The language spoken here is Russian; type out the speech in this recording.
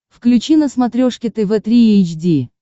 включи на смотрешке тв три эйч ди